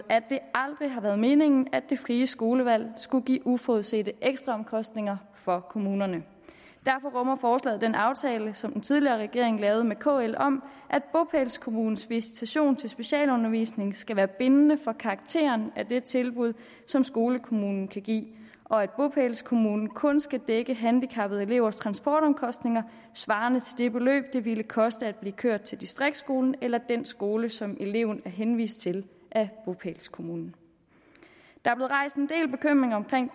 at det aldrig har været meningen at det frie skolevalg skulle give uforudsete ekstraomkostninger for kommunerne derfor rummer forslaget den aftale som den tidligere regering lavede med kl om at bopælskommunens visitation til specialundervisning skal være bindende for karakteren af det tilbud som skolekommunen kan give og at bopælskommunen kun skal dække handicappede elevers transportomkostninger svarende til det beløb det ville koste at blive kørt til distriktsskolen eller den skole som eleverne er henvist til af bopælskommunen der